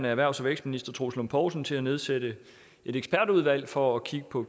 erhvervs og vækstminister troels lund poulsen til at nedsætte et ekspertudvalg for at kigge på